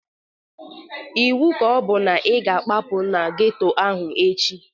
Ịwu ka ọbụ na ị ga akwapu n'geto ahụ echi!